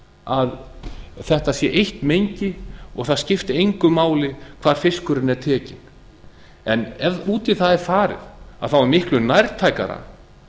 að þetta sé eitt mengi og það skipti engu máli hvar fiskurinn er tekinn en ef út í það er farið þá er miklu nærtækara